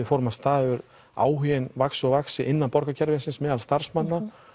fórum af stað hefur áhuginn vaxið og vaxið innan borgarkerfisins meðal starfsmanna